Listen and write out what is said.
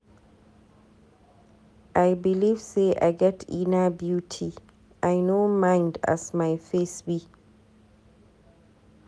I belive sey I get inner beauty, I no mind as my face be.